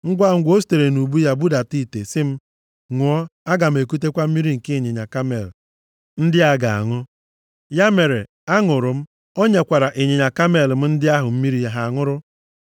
“Ngwangwa, o sitere nʼubu ya budata ite, sị m, ‘Ṅụọ, aga m ekutekwa mmiri nke ịnyịnya kamel ndị a ga-aṅụ.’ Ya mere, aṅụrụ m, o nyekwara ịnyịnya kamel m ndị ahụ mmiri ha ṅụrụ.